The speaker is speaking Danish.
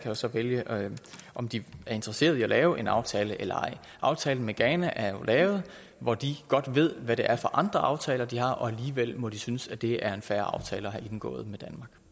jo så vælge om de er interesseret i at lave en aftale eller ej aftalen med ghana er jo lavet hvor de godt ved hvad det er for andre aftaler de har og alligevel må de synes at det er en fair aftale at have indgået